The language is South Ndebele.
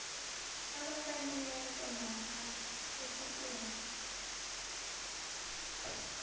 abafaneleko namkha ephikweni